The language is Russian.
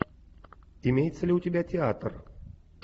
имеется ли у тебя театр